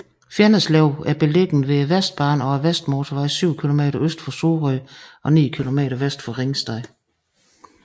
Fjenneslev er beliggende ved Vestbanen og Vestmotorvejen syv kilometer øst for Sorø og ni kilometer vest for Ringsted